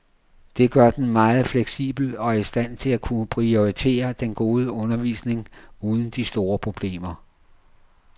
Det gør den meget fleksibel og i stand til at kunne prioritere den gode undervisning uden de store problemer.